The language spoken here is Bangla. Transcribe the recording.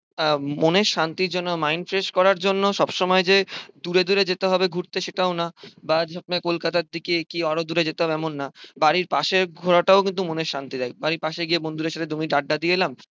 আহ মনের শান্তির জন্য mind fresh করার জন্য সব সময় যে দূরে দূরে যেতে হবে ঘুরতে সেটাও না। কলকাতার দিকে কি আরো দূরে যেতে হবে এমন না। বাড়ির পাশের ঘোরাটাও কিন্তু মনে শান্তি দেয়। আমি পাশে গিয়ে বন্ধুদের সঙ্গে দুই মিনিট আড্ডা দিয়ে এলাম